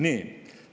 Nii.